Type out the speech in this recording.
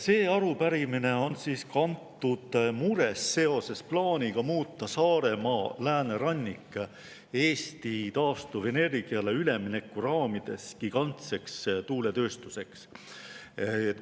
See arupärimine on kantud murest seoses plaaniga muuta Saaremaa läänerannik Eesti taastuvenergiale ülemineku raamides gigantseks tuuletööstuseks.